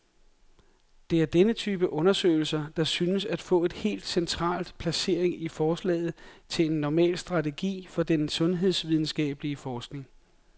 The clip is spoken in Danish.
Det er denne type undersøgelser, der synes at få et helt central placering i forslaget til en normal strategi for den sundhedsvidenskabelig forskning.